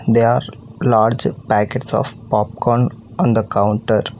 there are large packets of popcorn on the counter